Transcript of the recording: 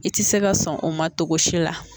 I tɛ se ka sɔn o ma togosi la